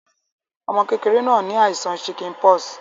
Ọmọ kẹ̀kẹrẹ̀ náà ni àìsàn chickenpox